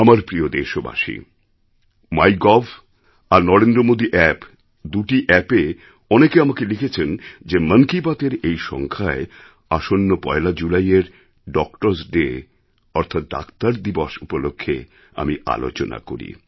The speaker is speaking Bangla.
আমার প্রিয় দেশবাসী মাইগভ আর NarendraModiApp দুটি appএ অনেকে আমাকে লিখেছেন যে মন কি বাতএর এই সংখ্যায় আসন্ন পয়লা জুলাইয়ের doctorস্ ডে অর্থাৎ ডাক্তার দিবস উপলক্ষ্যে আমি আলোচনা করি